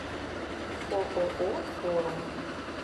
ооо форум